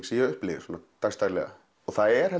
sem ég upplifi dags daglega það er